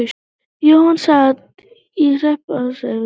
Jóhann sat í hreppsnefnd.